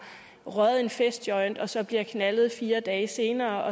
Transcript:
røget en festjoint og så bliver knaldet fire dage senere